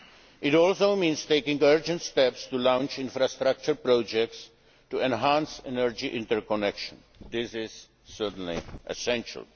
supplies. It also means taking urgent steps to launch infrastructure projects to enhance energy interconnections this is certainly essential.